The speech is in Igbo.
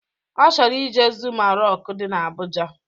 Ọ chọrọ ije zuma rọk dị na Abụja